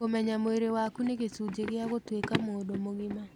Kũmenya mwĩrĩ waku nĩ gĩcunjĩ kĩa gũtuĩka mũndũ mũgima.